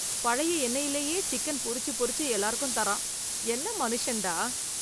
பழைய எண்ணெயிலேயே சிக்கன் பொரிச்சு பொரிச்சு எல்லாருக்கும் தரான்! என்ன மனுஷன்டா!